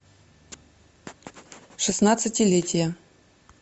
шестнадцатилетие